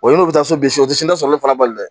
O ye n'u bɛ taa so bili o tɛ n'a sɔrɔ ale fana bali dɛ